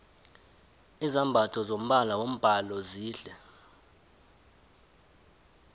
izambatho zombala wombhalo zihle